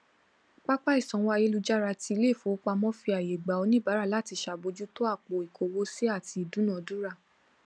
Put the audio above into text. pápá ìsanwó ayélujára tí ileifowopamo fi àyè gba oníbàárà láti ṣàbójútó àpò ikowo sì àti ìdúnadúrà